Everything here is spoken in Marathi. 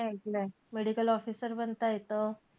मी एकलंय. Medical officer बनता येतं.